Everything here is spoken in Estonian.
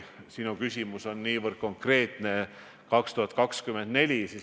Sinu küsimus oli niivõrd konkreetne, 2024. aasta kohta.